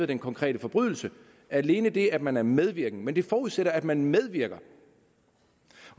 den konkrete forbrydelse alene det at man er medvirkende men det forudsætter at man medvirker